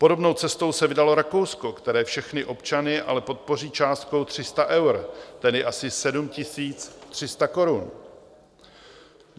Podobnou cestou se vydalo Rakousko, které všechny občany ale podpoří částkou 300 eur, tedy asi 7 300 korun.